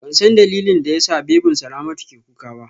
Bansan dalilin da yasa babyn Salamatu ke kuka ba